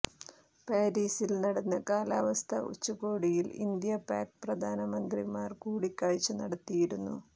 പാരീസിൽ നടന്ന കാലവസ്ഥാ ഉച്ചകോടിയിൽ ഇന്ത്യാ പാക് പ്രധാനമന്ത്രിമാർ കൂടിക്കാഴ്ച നടത്തിയിരുന്നു